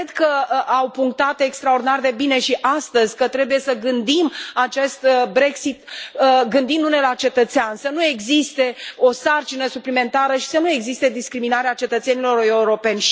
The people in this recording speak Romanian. Cred că au punctat extraordinar de bine și astăzi că trebuie să gândim acest Brexit gândindu ne la cetățean, să nu existe o sarcină suplimentară și să nu existe discriminarea cetățenilor europeni.